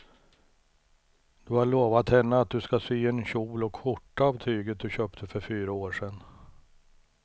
Du har lovat henne att du ska sy en kjol och skjorta av tyget du köpte för fyra år sedan.